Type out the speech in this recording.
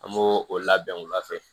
An b'o o labɛn wula fɛ